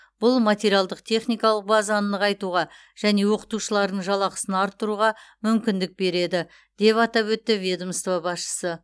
бұл материалдық техникалық базаны нығайтуға және оқытушылардың жалақысын арттыруға мүмкіндік береді деп атап өтті ведомство басшысы